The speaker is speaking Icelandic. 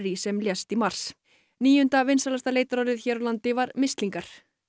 sem lést í mars níunda vinsælasta leitarorðið hér á landi var mislingar